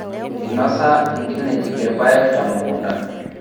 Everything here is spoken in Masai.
Einosa nkinejik irpayek temukunta